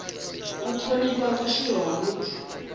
u thonifha vhutshilo ha muthu